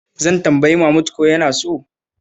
Zan tambayi Mahmud ko yana so.